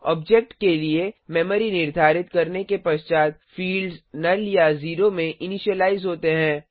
object के लिए memory निर्धारित करने के पश्चात फिल्ड्स नुल या ज़ेरो में इनिशीलाइज होते हैं